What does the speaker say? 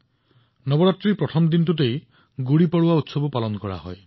নৱৰাত্ৰিৰ প্ৰথম দিনা গুড়ি পড়ৱা উৎসৱো অনুষ্ঠিত হয়